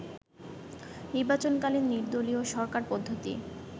নির্বাচনকালীন নির্দলীয় সরকার পদ্ধতি